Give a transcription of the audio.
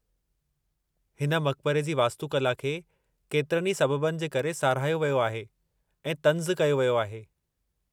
हिन मक़बरे जी वास्तुकला खे केतिरनि ई सबबनि जे करे साराहियो वियो आहे ऐं तंज़ कयो वियो आहे।